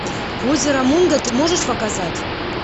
озеро мунго ты можешь показать